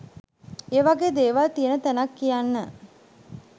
ඒ වගේ දේවල් තියෙන තැනක් කියන්න